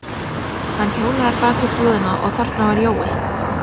Hann hjólaði bak við búðina og þarna var Jói.